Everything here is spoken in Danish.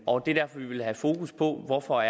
og det er derfor vi vil have fokus på hvorfor